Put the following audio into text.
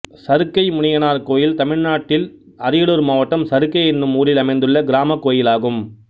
சருக்கை முனியனார் கோயில் தமிழ்நாட்டில் அரியலூர் மாவட்டம் சருக்கை என்னும் ஊரில் அமைந்துள்ள கிராமக் கோயிலாகும்